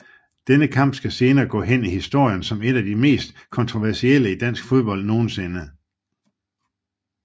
Denne kamp skal senere gå hen i historien som en af de mest kontroversielle i dansk fodbold nogensinde